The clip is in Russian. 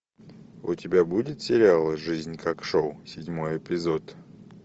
у тебя будет сериал жизнь как шоу седьмой эпизод